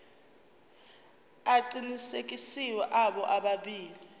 aqinisekisiwe abo bobabili